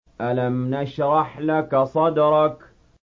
أَلَمْ نَشْرَحْ لَكَ صَدْرَكَ